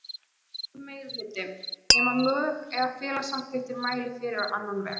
einfaldur meirihluti, nema lög eða félagssamþykktir mæli fyrir á annan veg.